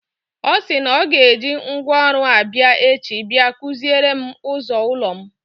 Ọ sị na ọ ga-eji ngwaọrụ abịa echi bia kụziere m ụzọ ụlọ m.